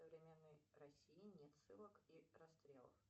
современной россии нет ссылок и расстрелов